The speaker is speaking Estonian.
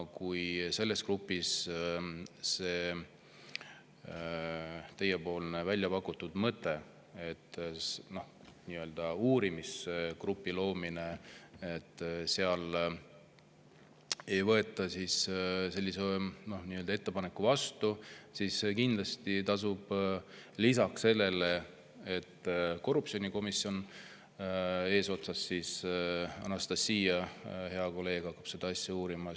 Kui selles grupis seda teie pakutud mõtet, uurimisgrupi loomist, ei võeta ettepanekuna vastu, siis kindlasti tasub mõelda sellele, et korruptsioonikomisjon, mille eesotsas on Anastassia, hea kolleeg, hakkab seda asja uurima.